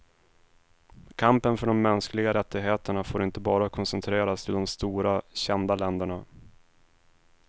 Kampen för de mänskliga rättigheterna får inte bara koncentreras till de stora, kända länderna.